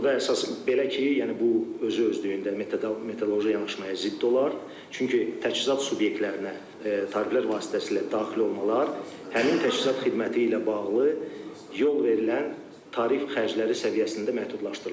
Burda əsas belə ki, yəni bu özü-özlüyündə metodoloji yanaşmaya zidd olar, çünki təchizat subyektlərinə tariflər vasitəsilə daxil olmalar həmin təchizat xidməti ilə bağlı yol verilən tarif xərcləri səviyyəsində məhdudlaşdırılır.